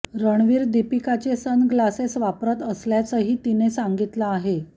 रणवीर दीपिकाचे सनग्लासेस वापरत असल्याचंही तिने सांगितलं आहे